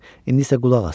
İndi isə qulaq as.